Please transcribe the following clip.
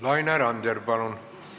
Laine Randjärv, palun!